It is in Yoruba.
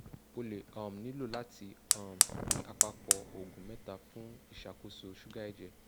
o le um nilo lati um ni apapo oògùn mẹta fun iṣakoso suga ẹjẹ